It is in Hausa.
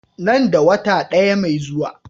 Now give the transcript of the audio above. Nan da wata ɗaya mai zuwa.